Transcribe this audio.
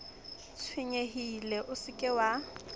tshwenyehile o se ke wa